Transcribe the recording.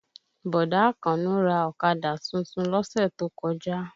Bọ̀dá Àkànó ra ọ̀kadà tuntun lọ́sẹ̀ tó kọjá